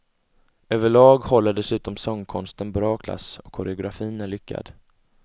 Överlag håller dessutom sångkonsten bra klass och koreografin är lyckad.